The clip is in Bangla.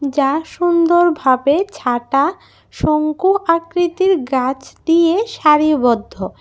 যা সুন্দর ভাবে ছাটা শঙ্কু আকৃতির গাছ দিয়ে সারিবদ্ধ।